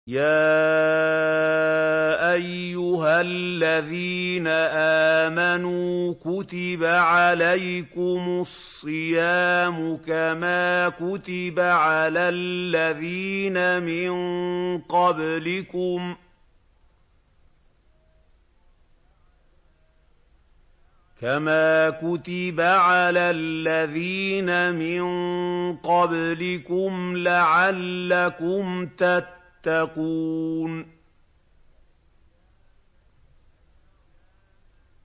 يَا أَيُّهَا الَّذِينَ آمَنُوا كُتِبَ عَلَيْكُمُ الصِّيَامُ كَمَا كُتِبَ عَلَى الَّذِينَ مِن قَبْلِكُمْ لَعَلَّكُمْ تَتَّقُونَ